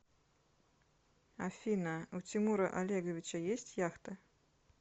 афина у тимура олеговича есть яхта